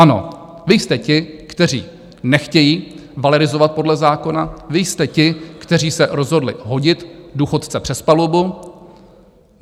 Ano, vy jste ti, kteří nechtějí valorizovat podle zákona, vy jste ti, kteří se rozhodli hodit důchodce přes palubu.